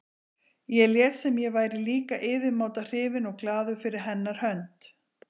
Ég lét sem ég væri líka yfirmáta hrifinn og glaður fyrir hennar hönd.